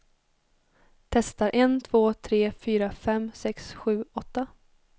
Testar en två tre fyra fem sex sju åtta.